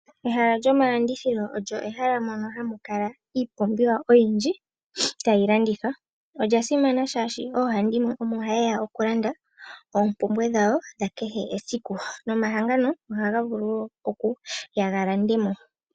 Ehala lyomalandithilo olyo ehala mono hamu kala iipumbiwa oyindji tayi landithwa. Olya simana oshoka oohandimwe omo ha yeya okulanda oompumbwe dhawo dha kehe esiku nomahangano ohaga vulu okuya galande mo.